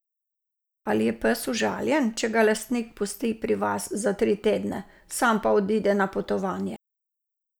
Ali je pes užaljen, če ga lastnik pusti pri vas za tri tedne, sam pa odide na potovanje?